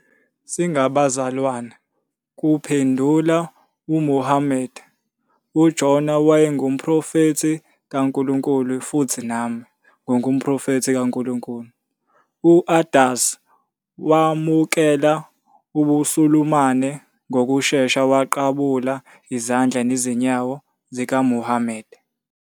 "Singabazalwane," kuphendula uMuhammad."UJona wayengumProfethi kaNkulunkulu futhi nami, ngingumProfethi kaNkulunkulu."U-Addas wamukela ubuSulumane ngokushesha waqabula izandla nezinyawo zikaMuhammad.